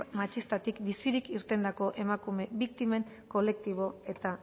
matxistatik bizirik irtendako emakume biktimen kolektibo eta